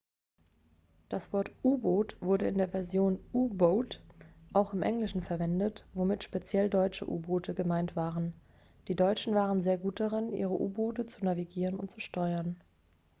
das wort u-boot wurde in der version u-boat auch im englischen verwendet womit speziell deutsche u-boote gemeint waren die deutschen waren sehr gut darin ihre u-boote zu navigieren und zu steuern